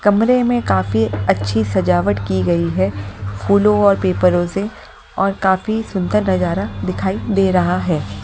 कमरे में काफी अच्छी सजावट की गई है फूलों और पेपरों से और काफी सुंदर नजारा दिखाई दे रहा है।